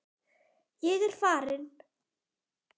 Ég er farin.